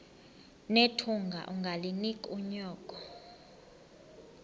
nethunga ungalinik unyoko